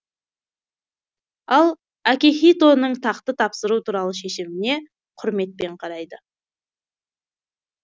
ал акихитоның тақты тапсыру туралы шешіміне құрметпен қарайды